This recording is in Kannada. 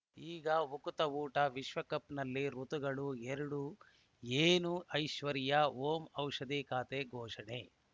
ಈಗ ಉಕುತ ಊಟ ವಿಶ್ವಕಪ್‌ನಲ್ಲಿ ಋತುಗಳು ಎರಡು ಏನು ಐಶ್ವರ್ಯಾ ಓಂ ಔಷಧಿ ಖಾತೆ ಘೋಷಣೆ